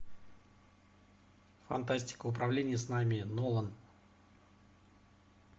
фантастика управление снами нолан